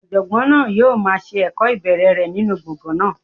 Ọ̀jọ̀gbọ́n náà yóò máa se ẹ̀kọ́ ìbẹ̀rẹ̀ rẹ̀ nínú gbọ̀ngàn náà.